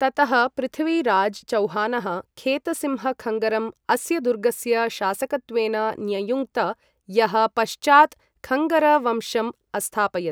ततः पृथ्वीराज् चौहानः खेतसिंहखङ्गरं अस्य दुर्गस्य शासकत्वेन न्ययुङ्क्त, यः पश्चात् खङ्गर वंशम् अस्थापयत्।